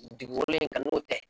Dugu wololen kan n'o tɛ